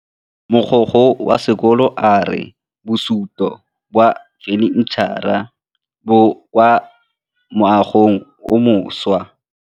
Mogokgo wa sekolo a re bosutô ba fanitšhara bo kwa moagong o mošwa.